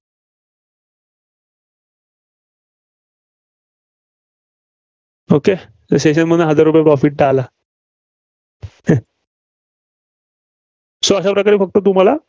okay हे Session मधनं हजार रुपये profit तं आला. अं so अशा प्रकारे फक्त तुम्हाला